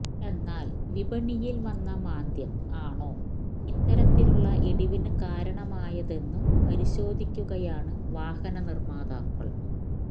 എന്നാല് വിപണിയില് വന്ന മാന്ദ്യം ആണോ ഇത്തരത്തിലുള്ള ഇടിവിനു കാരണമായതെന്നു പരിശോധിക്കുകയാണ് വാഹന നിര്മാതാക്കള്